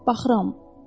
Baxıram.